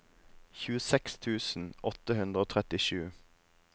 tjueseks tusen åtte hundre og trettisju